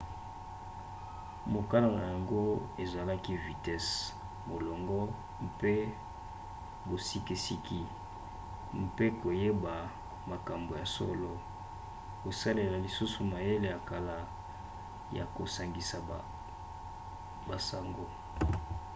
mokano na yango ezalaki vitese molongo mpe bosikisiki mpe koyeba makambo ya solo kosalela lisusu mayele ya kala ya kosangisa basango